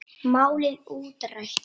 Málið útrætt.